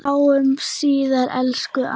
Sjáumst síðar, elsku amma.